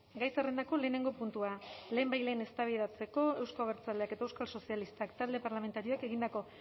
gai zerrendako lehenengo puntua lehenbailehen eztabaidatzeko euzko abertzaleak eta euskal sozialistak talde parlamentarioek egindako